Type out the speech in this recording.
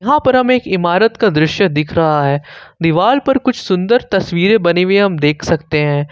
यहां पर हमें एक इमारत का दृश्य दिख रहा है दीवार पर कुछ सुंदर तस्वीरें बनी हुई हम देख सकते हैं।